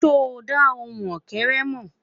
sọ dà ohùn ókéré mọ?